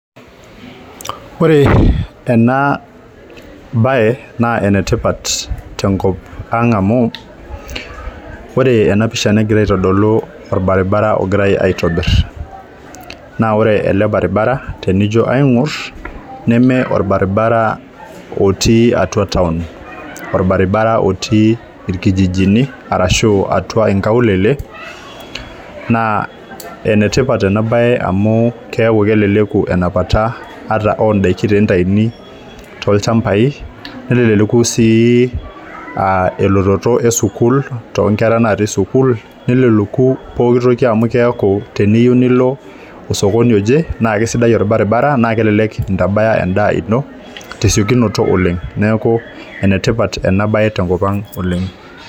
Ore ena baye naa enetipat tenkop ang amu ore ena pisha negira aitodolu orbaribara ogirae ae aitobirr naa ore ele baribara tenijio aing'orr neme orbaribara otii atua town orbaribara otii irkijijini arashu atua inkaulele naa enetipat ena baye amu keeku keleleku enapata ata ondaiki tenitaini tolchambai neleleku sii uh elototo esukuul tonkera natii sukuul neleleku pokitoki amu keeku teniyieu nilo osokoni oje naa kisidai orbaribara naa kelelek intabaya endaa ino tesiokinoto oleng neku enetipat ena baye tenkop ang oleng.